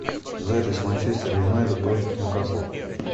запись манчестер юнайтед против ньюкасла